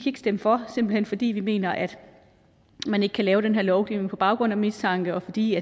ikke stemme for simpelt hen fordi vi mener at man ikke kan lave den her lovgivning på baggrund af mistanke og fordi